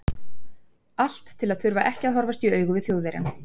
Allt til að þurfa ekki að horfast augu í við Þjóðverjann.